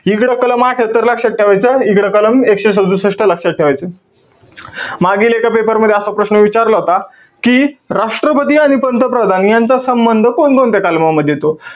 इकडं कलम अठ्ठयात्तर लक्षात ठेवायचं. तिकडे कलम एकशे सदुसष्ट लक्षात ठेवायचं. मागील एका paper मध्ये असा प्रश्न विचारला होता. कि राष्ट्रपती आणि पंतप्रधान यांचा संबंध कोणकोणत्या कलमांमध्ये येतो?